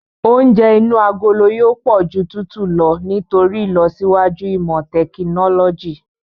Oúnjẹ inú agolo yóò pọ̀ ju tútù lọ nítorí ìlọsíwájú ìmọ tẹkinọ́lọ́jì.